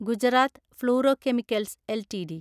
Gujarat Fluorochemicals LTD